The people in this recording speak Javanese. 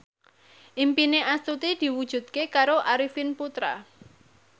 impine Astuti diwujudke karo Arifin Putra